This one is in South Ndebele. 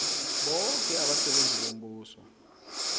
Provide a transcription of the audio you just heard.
boke abasebenzi bombuso